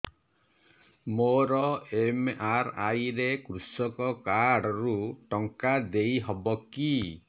ମୋର ଏମ.ଆର.ଆଇ ରେ କୃଷକ କାର୍ଡ ରୁ ଟଙ୍କା ଦେଇ ହବ କି